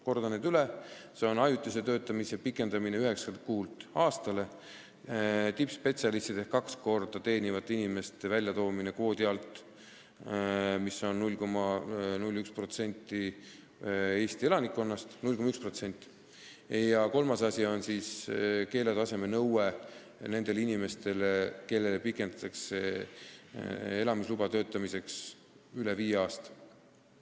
Kordan need üle: ajutise töötamise pikendamine üheksalt kuult aastale, tippspetsialistide ehk kahte keskmist palka teenivate inimeste väljatoomine kvoodi alt, mis on 0,1% Eesti elanikkonnast, ja kolmas asi on keeleoskuse nõue nendel inimestel, kelle elamisluba pikendatakse töötamiseks üle viie aasta.